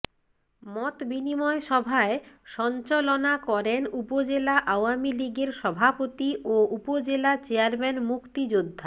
মতবিনিময় সভায় সঞ্চলনা করেন উপজেলা আওয়ামী লীগের সভাপতি ও উপজেলা চেয়ারম্যান মুক্তিযোদ্ধা